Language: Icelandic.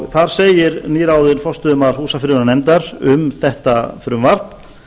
þar segir nýráðinn forstöðumaður húsafriðunarnefndar um þetta frumvarp